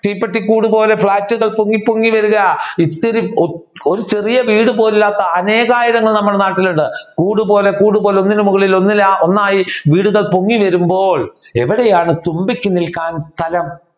തീപ്പട്ടി കൂടുപോലെ ഫ്ലാറ്റുകൾ പൊങ്ങി പൊങ്ങി വരുക ഇത്തിരി ഒരു ചെറിയ വീട് പോലും ഇല്ലാത്ത അനേകായിരം നമ്മുടെ നാട്ടിൽ ഉണ്ട്. കൂട് പോലെ കൂട് പോലെ ഒന്നിന് മുകളെ ഒന്നായി വീടുകൾ പൊങ്ങി വരുമ്പോൾ എവിടെയാണ് തുമ്പിക്ക് നിൽക്കുവാൻ സ്ഥലം?